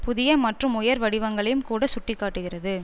புதிய மற்றும் உயர் வடிவங்களையும் கூட சுட்டி காட்டுகிறது